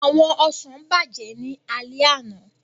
Àwọn ọsàn bàjẹ́ ní alẹ́ àná